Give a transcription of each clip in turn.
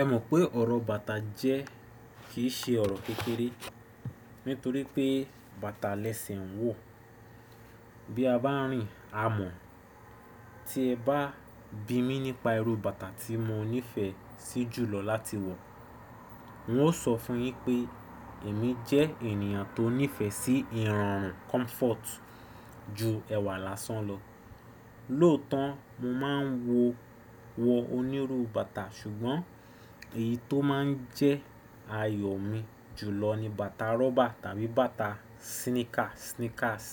Ẹ mọ̀ pé ọ̀rọ̀ bàtà jẹ́, kì í ṣe ọ̀rọ̀ kékeré nítorí pé bàtà lẹ́sẹ̀ ń wọ̀. Bí a bá rìn a mọ̀, tí ẹ bá bi mí nípa irú bàtà tí mo nífẹ̀ẹ́ sí jù lọ láti wọ̀, n ó sọ fún un yín pé èmi jẹ́ ènìyàn tó nífẹ̀ẹ́ sí ìrọ̀rùn comfort ju ẹwà lásán lọ. Lóòótọ́ mo máa ń wọ onírú bàtà ṣùgbọ́n èyí tó máa ń jẹ́ ayọ̀ mi jùlọ ni bàtà rọ́bà tàbí bàtà síníkà sneakers.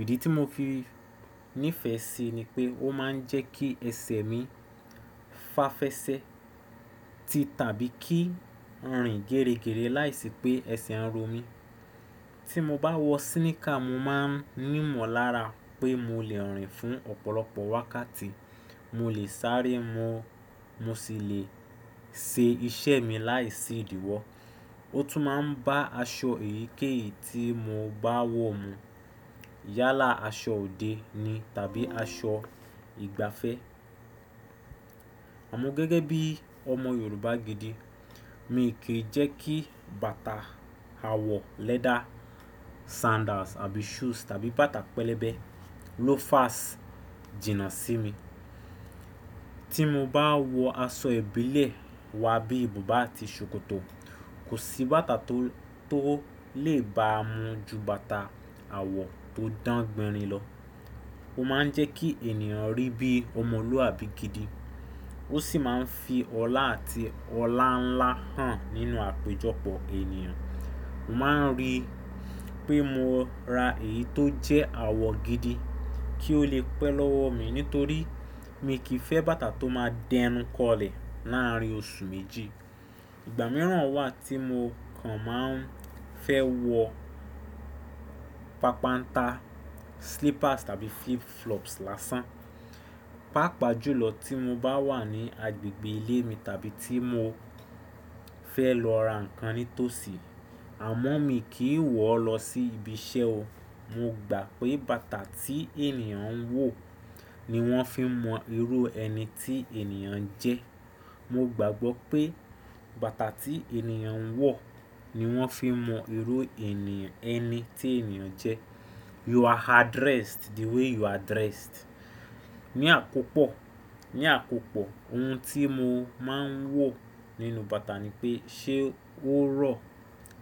Ìdí tí mo fi nífẹ̀ẹ́ sí i ni pé ó máa ń jẹ́ kí ẹsẹ̀ mi fàféṣẹ́ ti tàbí kí n rìn géréngéré láìsí pé ẹsẹ̀ ń ro mí. Tí mo bá wọ síníkà, mo máa ń mímọ̀ lára pé mo lè rìn fún ọ̀pọ̀lọpọ̀ wákàtí, mo lè sáré mọ́, mo sì lè ṣe iṣẹ́ mi láìsí ìdíwọ́. Ó tún máa ń bá aṣọ èyíkéyìí tí mo bá wọ̀ mú. Yálà, aṣọ òde ni tàbí aṣọ ìgbafẹ́. Àmọ́ gẹ́gẹ́ bí ọmọ Yorùbá gidi, mi kì í jẹ́ kí bàtà àwọ̀ lẹ́dà sandals àbí shoes tàbí bàtà pẹlẹbẹ loafers jìnà sí mi. Tí mo bá wọ aṣọ ìbílẹ̀ wa bí i bùbá àti ṣòkòtò, kò sí bàtà tó, tó lè ba mu ju bàtà àwọ̀ tó dán gbẹrin lọ. Ó máa ń jẹ́ kí ènìyàn rí bí ọmọlúàbí gidi. Ó sì máa ń fi ọlá àti ọláńlá hàn nínú àpéjọpọ̀ ènìyàn. Mo máa ń rí pé mo ra èyí tó jẹ́ àwọ̀ gidi kí ó lè pẹ́ lọ́wọ́ mi nítorí mi kì í fẹ́ bàtà tó máa dẹnu kọlẹ̀ láàárín oṣù méjì. Ìgbà mìíràn wà tí mo kan máa ń fẹ́ wọ pànpánta slippers tàbí flip flops lásán. Pàápàá jùlọ tí mo bá wà ní agbègbè ilé mi tàbí tí mo fẹ́ lọ ra nǹkan nítòsí. Àmọ́ mi kì í wọ̀ ọ́ lọ sí ibi iṣẹ́ o. Mo gbà pé bàtà tí ènìyàn ń wọ̀ ni wọ́n fi mọ irú ẹni tí ènìyàn jẹ́. Mo gbàgbọ́ pé bàtà tí ènìyàn ń wọ̀ ni wọ́n fi mọ irú ẹni tí ènìyàn jẹ́. You are addressed the way you are dressed. Ni àkopọ̀, ní àkòpọ̀ ohun tí mo máa ń wò nínú bàtà ni pé ṣé ó rọ̀?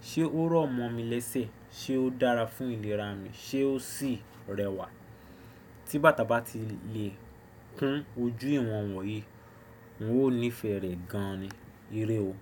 Ṣé ó rọ̀ mọ́ mi lẹ́sẹ̀? Ṣé ó dára fún ìlera mi? Ṣé ó sì rẹwà? Tí bàtà bá ti lè kún ojú ìwọ̀n wọ̀ yìí, n ó nífẹ̀ẹ́ rẹ̀ gan ni. Irẹ́ o.